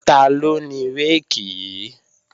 Taló ni réèkì yí?